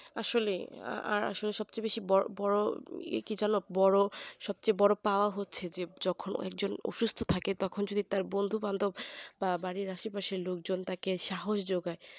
আসলে সব থেকে বড় বড় কি জানো সবচেয়ে বড় পাওয়া হচ্ছে যখন একজন অসুস্থ থাকে তখন তার বন্ধুবান্ধব বা বাড়ির আশেপাশের লোকজন তাকে সাহস যোগায়